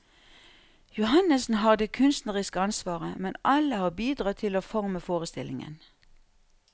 Johannessen har det kunstneriske ansvaret, men alle har bidratt til å forme forestillingen.